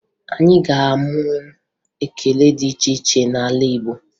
Anyị ga-amụ ekele dị iche iche n'ala Igbo